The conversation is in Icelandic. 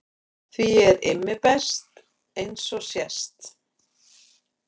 Því ég er Immi best eins og sést.